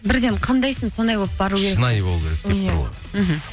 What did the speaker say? бірден қандайсың сондай болып бару керек шынайы болу керек деп тұр ғой мхм